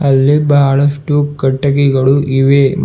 ಅಲ್ಲಿ ಬಹಳಷ್ಟು ಕಟ್ಟಿಗಿಗಳು ಇವೆ ಮತ್ತು--